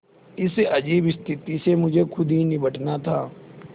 इस अजीब स्थिति से मुझे खुद ही निबटना था